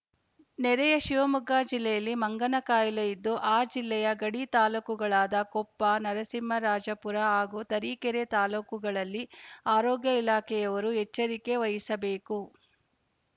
ನೆರೆಯ ಶಿವಮೊಗ್ಗ ಜಿಲ್ಲೆಯಲ್ಲಿ ಮಂಗನಕಾಯಿಲೆ ಇದ್ದು ಆ ಜಿಲ್ಲೆಯ ಗಡಿ ತಾಲೂಕುಗಳಾದ ಕೊಪ್ಪ ನರಸಿಂಹರಾಜಪುರ ಹಾಗೂ ತರೀಕೆರೆ ತಾಲೂಕುಗಳಲ್ಲಿ ಆರೋಗ್ಯ ಇಲಾಖೆಯವರು ಎಚ್ಚರಿಕೆ ವಹಿಸಬೇಕು